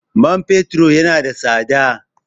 Man fetur yana da tsada.